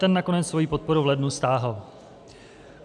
Ten nakonec svoji podporu v lednu stáhl.